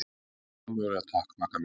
Nei, ómögulega takk, Magga mín.